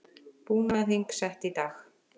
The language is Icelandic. Búnaðarþing sett í dag